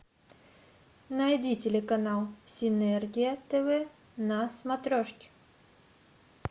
найди телеканал синергия тв на смотрешке